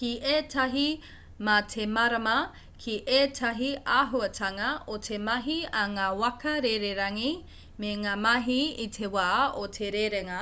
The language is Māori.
ki ētahi mā te mārama ki ētahi āhuatanga o te mahi a ngā waka rererangi me ngā mahi i te wā o te rerenga